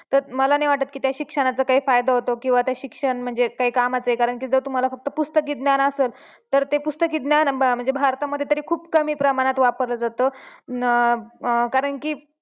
तर मला नाही वाटत की त्या शिक्षणाचा काही फायदा होतो किंवा ते शिक्षण म्हणजे काई कामाचं आहे कारण की जर तुम्हाला फक्त पुस्तकी ज्ञान असल तर ते पुस्तकी ज्ञान म्हणजे भारतामध्ये तरी खूप कमी प्रमाणात वापरलं जातं